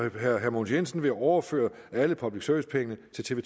at herre mogens jensen vil overføre alle public service pengene til tv